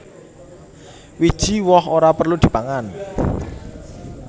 Wiji woh ora perlu dipangan